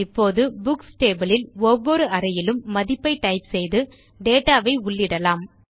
இப்போது books table இல் ஒவ்வொரு அறையிலும் மதிப்பை டைப் செய்து நாம் டேட்டா வை உள்ளிடலாம்